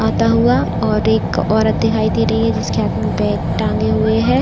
आता हुआ और एक औरत दिखाई दे रही है जिसके हाथों में बैग टांगे हुए है।